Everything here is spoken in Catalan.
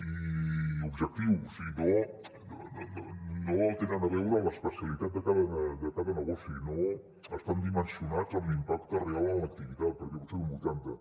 i objectius i no tenen a veure amb l’especialitat de cada negoci no estan dimensionats amb l’impacte real en l’activitat perquè pot ser d’un vuitanta